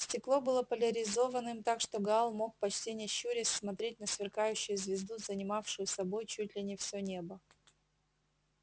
стекло было поляризованным так что гаал мог почти не щурясь смотреть на сверкающую звезду занимавшую собой чуть ли не всё небо